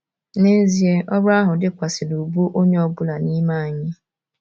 N’ezie, ọrụ ahụ dịkwasị n’ubu onye ọ bụla n’ime anyị.